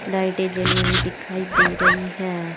लाइटें जली हुई दिखाई दे रही है।